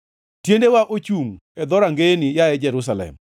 Tiendewa ochungʼ e dhorangeyeni, yaye Jerusalem.